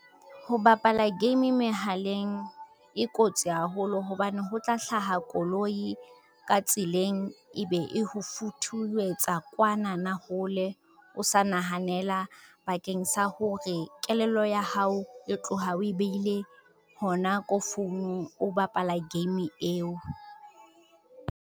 Ho bapala game mehaleng e kotsi haholo hobane ho tla hlaha koloi, ka tseleng e be e ho futhuwetsa kwana na hole o sa nahanela bakeng sa hore kelello ya hao e tloha o e behile, hona ko founung o bapala game eo.